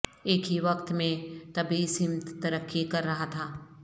ایک ہی وقت میں طبی سمت ترقی کر رہا تھا